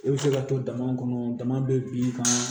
I bɛ se ka to dama kɔnɔ dama bɛ bin kan